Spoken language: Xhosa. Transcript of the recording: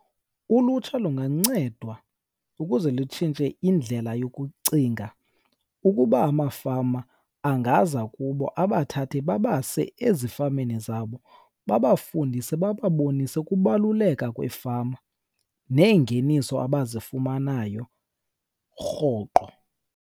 Ulutsha lungancedwa ukuze lutshintshe indlela yokucinga. Ukuba amafama angaza kubo abathathe babase ezifameni zabo babafundise, bababonise ukubaluleka kweefama neengeniso abazifumanayo rhoqo.